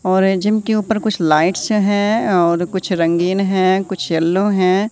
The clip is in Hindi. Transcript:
और ये जिम के ऊपर कुछ लाइट्स हैं और कुछ रंगीन हैं कुछ येलो हैं।